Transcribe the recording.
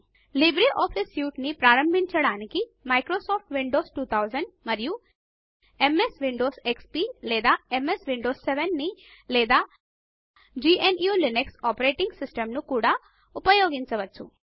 LibreOffice suite ని ప్రారంభించడానికి Microsoft Windows 2000 మరియు ఎంఎస్ విండోస్ ఎక్స్పీ లేదా ఎంఎస్ విండోస్ 7ని లేదా గ్ను లినక్స్ ఆపరేటింగ్ సిస్టమ్ను కూడా ఉపయోగించవచ్చు